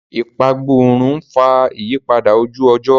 Ìpagbórun ń fà ìyípadà ojú-ọjọ́.